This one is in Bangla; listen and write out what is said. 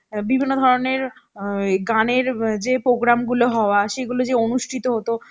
বিভিন্ন ধরনের অ্যাঁ ওই গানের যে program গুলো হওয়া সে গুলো যে অনুষ্ঠিত হত